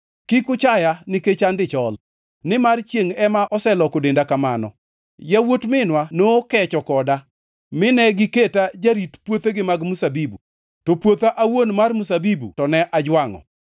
Kik uchaya nikech an dichol, nimar chiengʼ ema oseloko denda kamano. Yawuot minwa nokecho koda, mine giketa jarit puothegi mag mzabibu; to puotha awuon mar mzabibu to ne ajwangʼo.